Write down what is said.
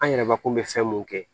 An yɛrɛ mako bɛ fɛn mun kɛ